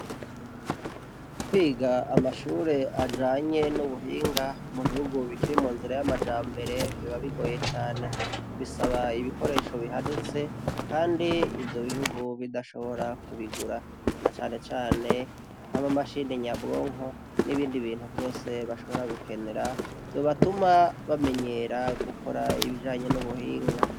Kwiga amashure ajanye n' ubuhinga mu bihugu bikiri mu nzira y' amajambere biba bigoye cane . Bisaba ibikoresho bihanitse, kandi ivyo bihugu bidashobora kubigura . Na cane cane nk' ama mashini nyabwonko, n ' ibindi vyose bashobora gukenera , vyobatuma bamenyera gukora ibijanye n' ubuhinga.